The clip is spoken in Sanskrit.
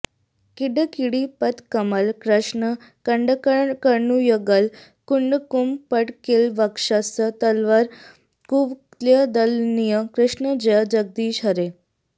किङ्किणिपदकमल कृष्ण कङ्कणकरयुगळ कुङ्कुमपङ्किलवक्षस्थलवर कुवलयदळनील कृष्ण जय जगदीश हरे